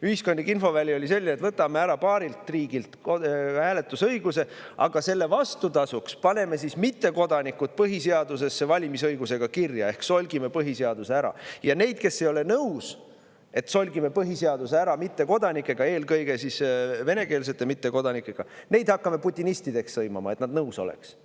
Ühiskondlik infoväli oli selge: võtame paari riigi hääletusõiguse, aga vastutasuks paneme mittekodanikud põhiseadusesse valimisõigusega kirja ehk solgime põhiseaduse ära, ja neid, kes ei ole nõus, et me solgime põhiseaduse ära mittekodanikega, eelkõige venekeelsete mittekodanikega, hakkame putinistideks sõimama, et nad nõus oleks.